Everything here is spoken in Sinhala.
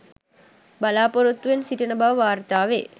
බලාපොරොත්තුවෙන් සිටින බව වාර්තා වේ.